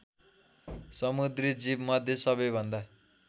समुद्री जीवमध्ये सबैभन्दा